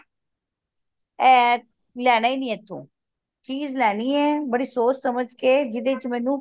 ਇਹ ਲੈਣਾ ਹੀ ਨਹੀਂ ਇਥੋਂ ਚੀਜ ਲੈਣੀ ਏ ਬੜੀ ਸੋਚ ਸਮਝ ਕੇ ਜਿਹੜੇ ਚ ਮੈਨੂੰ